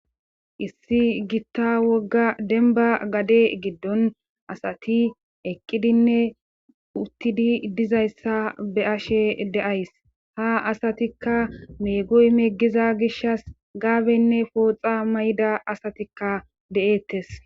issi gitta wogga denba gade giddon asati eqqidinne uttidi dizayssa be 'ashe deays ha asatikka meegoy meggiza gishas gaabenne pooxa mayda asatikka de'eettes